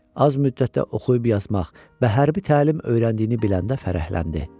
Az müddətdə oxuyub yazmaq və hərbi təlim öyrəndiyini biləndə fərəhləndi.